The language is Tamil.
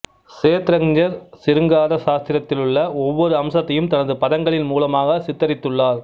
ஷேத்ரக்ஞர் சிருங்கார சாஸ்திரத்திலுள்ள ஒவ்வொரு அம்சத்தையும் தனது பதங்களின் மூலமாகச் சித்தரித்துள்ளார்